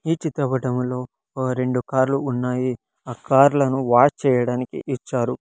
ఈ చిత్రపటంలో ఒ రెండు కార్లు ఉన్నాయి ఆ కార్లను వాష్ చేయడానికి ఇచ్చారు.